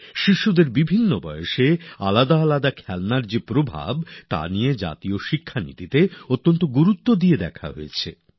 শিশুদের জীবনের বিভিন্ন পর্যায়ে খেলনার যে প্রভাব সেটা নিয়ে জাতীয় শিক্ষা নীতিতে ব্যাপক নজর দেওয়া হয়েছে